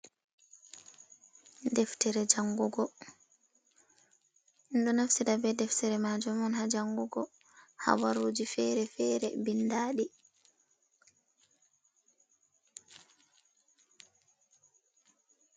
Ɗeftere jangugo ɗum ɗo naftira be ɗeftere majum on ha jangugo habaruji fere fere ɓindaɗi